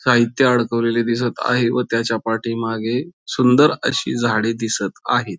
साहित्य अडकवलेले दिसत आहे व त्याच्या पाठीमागे सुंदर अशी झाडे दिसत आहेत.